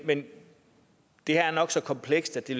men det her er nok så komplekst at det